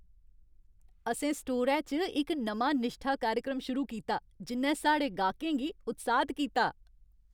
असें स्टोरै च इक नमां निश्ठा कार्यक्रम शुरू कीता जि'न्नै साढ़े गाह्कें गी उत्साह्त कीता।